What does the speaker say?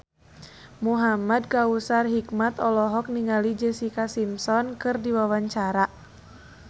Muhamad Kautsar Hikmat olohok ningali Jessica Simpson keur diwawancara